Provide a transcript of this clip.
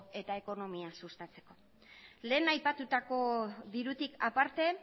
eta ekonomia sustatzeko lehen aipatutako dirutik aparte